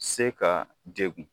Se ka degun